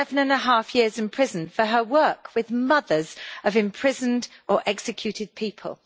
11.5 years in prison for her work with mothers of imprisoned or executed people.